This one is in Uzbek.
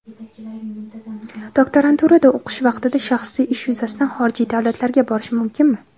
doktoranturada o‘qish vaqtida shaxsiy ish yuzasidan xorijiy davlatlarga borish mumkinmi?.